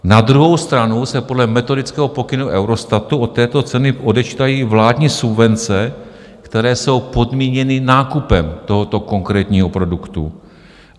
Na druhou stranu se podle metodického pokynu Eurostatu od této ceny odečítají vládní subvence, které jsou podmíněny nákupem tohoto konkrétního produktu.